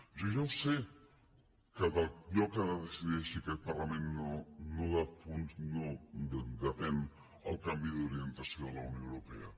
jo ja ho sé que del que decideixi aquest parlament no depèn el canvi d’orientació de la unió europea